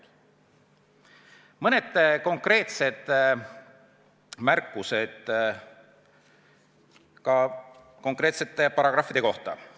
Esitan mõned konkreetsed märkused konkreetsete paragrahvide kohta.